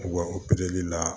U ka opereli la